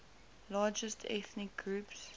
largest ethnic groups